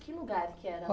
Que lugar que era